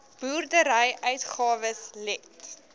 boerdery uitgawes let